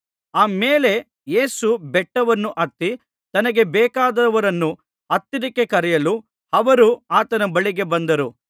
ಆ ಮೇಲೆ ಯೇಸು ಬೆಟ್ಟವನ್ನು ಹತ್ತಿ ತನಗೆ ಬೇಕಾದವರನ್ನು ಹತ್ತಿರಕ್ಕೆ ಕರೆಯಲು ಅವರು ಆತನ ಬಳಿಗೆ ಬಂದರು